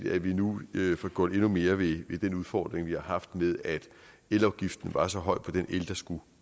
at vi nu får gjort endnu mere ved den udfordring vi har haft med at elafgiften var så høj på den el der skulle